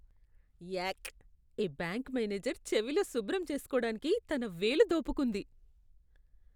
యాక్. ఈ bank manager చెవిలో శుభ్రం చేసుకోడానికి తన వేలు దోపుకుంది.